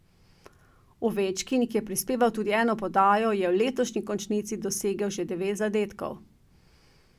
Ovečkin, ki je prispeval tudi eno podajo, je v letošnji končnici dosegel že devet zadetkov.